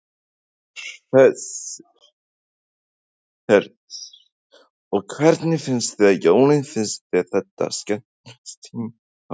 Hersir: Og hvernig finnst þér jólin, finnst þér þetta vera skemmtilegasti tíminn á árinu?